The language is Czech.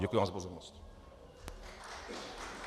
Děkuji vám za pozornost.